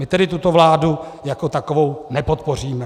My tedy tuto vládu jako takovou nepodpoříme.